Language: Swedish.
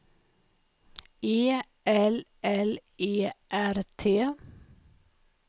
E L L E R T